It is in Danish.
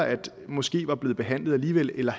måske var blevet behandlet alligevel eller